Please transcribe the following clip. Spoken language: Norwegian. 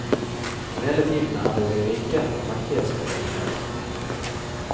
Og hele tiden er det de rike og mektige som får unngjelde. punktum